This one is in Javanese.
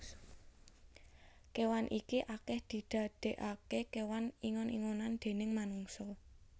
Kewan iki akeh didadeake kewan ingon ingonan déning manungsa